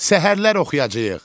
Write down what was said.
Səhərlər oxuyacağıq.